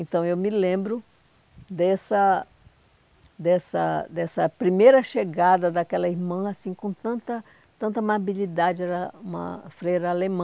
Então, eu me lembro dessa dessa dessa primeira chegada daquela irmã assim com tanta tanta amabilidade, era uma freira alemã.